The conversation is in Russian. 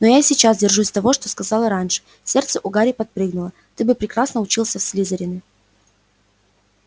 но я и сейчас держусь того что сказала раньше сердце у гарри подпрыгнуло ты бы прекрасно учился в слизерине